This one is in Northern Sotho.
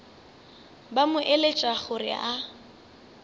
ba mo eletša gore a